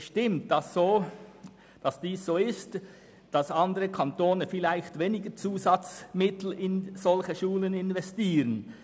Es stimmt, dass andere Kantone vielleicht weniger zusätzliche Mittel in solche Schulen investieren.